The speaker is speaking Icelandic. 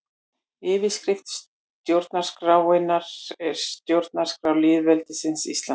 Yfirskrift stjórnarskrárinnar er Stjórnarskrá lýðveldisins Íslands.